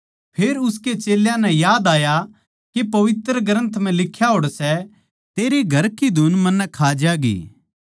फेर उसकै चेल्यां नै याद आया के पवित्र ग्रन्थ म्ह लिख्या होड़ सै तेरै घर की धुन मन्नै खा ज्यागी